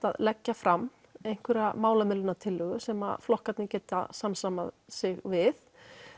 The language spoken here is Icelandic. að leggja fram einhverja málamiðlunartillögu sem flokkarnir geta samsamað sig við